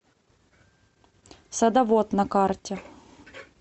садовод на карте